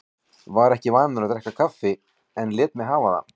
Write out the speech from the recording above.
Var ekki vanur að drekka kaffi en lét mig hafa það.